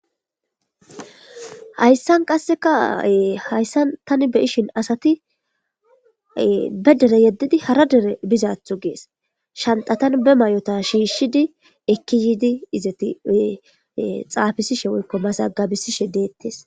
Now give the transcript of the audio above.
Hayssan qassekae hayssan tani be ishin asatibe dere yeddidi hara dere bizaathu gees shantatan be may'ota shiishshidi ekki yiidi izeti xaafisishe woykko masagabisishe deettes.